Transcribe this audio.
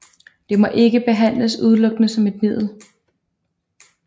Det må ikke behandles udelukkende som et middel